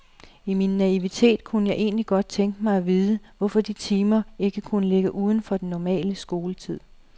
I min naivitet kunne jeg egentlig godt tænke mig at vide, hvorfor de timer ikke kunne ligge uden for den almindelige skoletid.